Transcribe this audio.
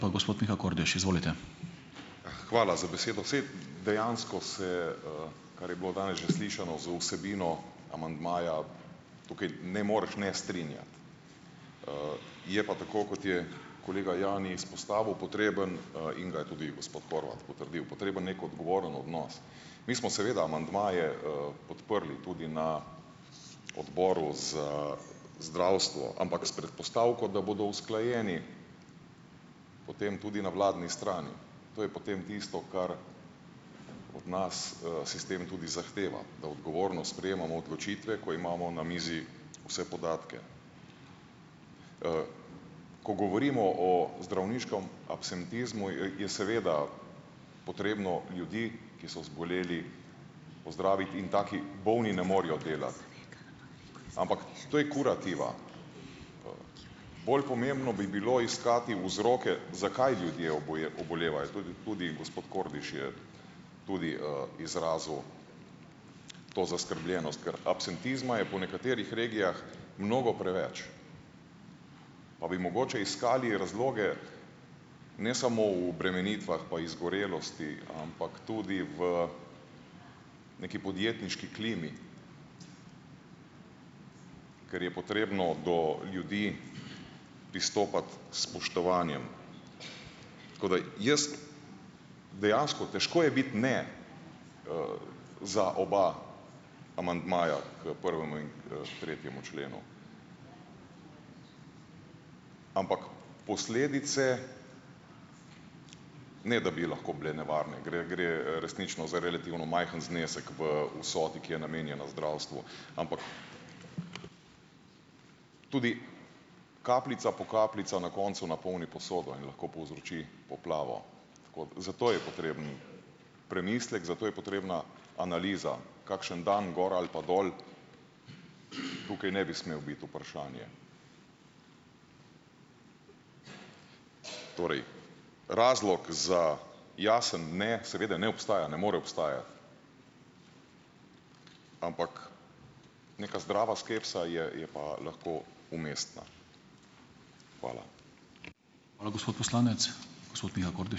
Hvala za besedo! Saj dejansko se, kar je bilo danes že slišano z vsebino amandmaja, tukaj ne moreš ne strinjati, je pa tako, kot je kolega Jani izpostavil, potreben - in ga je tudi gospod Horvat potrdil - potreben neki odgovoren odnos. Mi smo seveda amandmaje, podprli tudi na Odboru za zdravstvo, ampak, s predpostavko, da bodo usklajeni potem tudi na vladni strani. To je potem tisto, kar od nas, sistem tudi zahteva - da odgovorno sprejemamo odločitve, ko imamo na mizi vse podatke. Ko govorimo o zdravniškem absentizmu, je seveda potrebno ljudi, ki so zboleli pozdraviti, in taki bolni ne morejo delati, ampak to je kurativa, Bolj pomembno bi bilo iskati vzroke, zakaj ljudje obolevajo. tudi gospod Kordiš je tudi, izrazil to zaskrbljenost, ker absentizma je po nekaterih regijah mnogo preveč. Pa bi mogoče iskali razloge na samo v obremenitvah pa izgorelosti, ampak tudi v neki podjetniški klimi, ker je potrebno do ljudi pristopati s spoštovanjem. Tako da jaz, dejansko težko je biti, ne, za oba amandmaja k prvemu in k tretjemu členu. Ampak posledice ne da bi lahko bile nevarne, gre gre resnično za relativno majhen znesek v vsoti, ki je namenjena zdravstvu, ampak tudi kapljica po kapljica na koncu napolni posodo in lahko povzroči poplavo, tako zato je potreben premislek, zato je potrebna analiza. Kakšen dan gor ali pa dol tukaj ne bi smel biti vprašanje. Torej, razlog za jasen, ne, seveda, ne obstaja, ne more obstajati. Ampak neka zdrava skepsa je je pa lahko umestna. Hvala.